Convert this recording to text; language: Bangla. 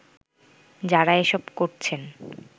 যারা এসব করছেন